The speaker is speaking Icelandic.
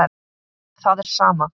Það er sama.